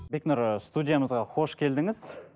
бекнұр ы студиямызға қош келдіңіз